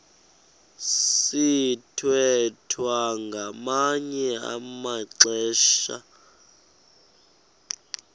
sithwethwa ngamanye amaxesha